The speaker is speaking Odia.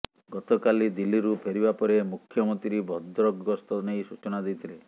ଗତକାଲି ଦିଲ୍ଲୀରୁ ଫେରିବା ପରେ ମୁଖ୍ୟମନ୍ତ୍ରୀ ଭଦ୍ରକ ଗସ୍ତ ନେଇ ସୂଚନା ଦେଇଥିଲେ